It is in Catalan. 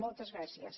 moltes gràcies